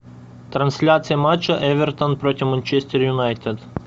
трансляция матча эвертон против манчестер юнайтед